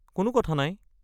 কোনো কথা নাই।